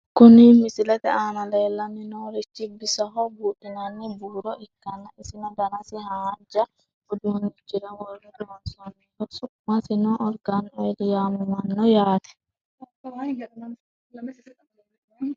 Kuni misilete aana leellanni noorichi bisoho buudhinanni buuro ikkanna , isino danasi haanja uduunnichira worre loonsoonniho. su'masino argani oil yaamamanno yaate.